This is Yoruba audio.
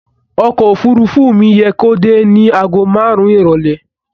Ọkọ̀ òfuurufú mi yẹ kó dé ní àgó márùn-ún ìrọ̀lẹ́.